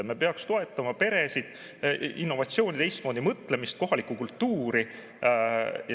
Me peaks toetama peresid, innovatsiooni, teistmoodi mõtlemist ja kohalikku kultuuri.